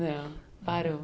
Não, parou.